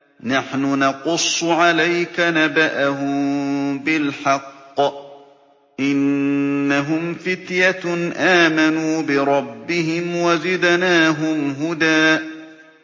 نَّحْنُ نَقُصُّ عَلَيْكَ نَبَأَهُم بِالْحَقِّ ۚ إِنَّهُمْ فِتْيَةٌ آمَنُوا بِرَبِّهِمْ وَزِدْنَاهُمْ هُدًى